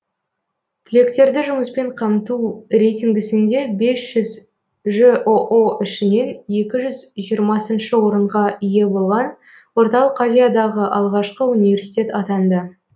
түлектерді жұмыспен қамту рейтингісінде бес жүз жоо ішінен екі жүз жиырмасыншы орынға ие болған орталық азиядағы алғашқы университет атанды